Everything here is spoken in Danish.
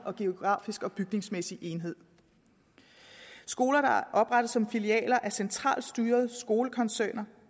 geografisk og bygningsmæssig enhed skoler der oprettes som filialer er centralt styrede skolekoncerner